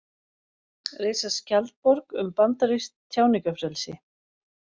Reisa skjaldborg um bandarískt tjáningarfrelsi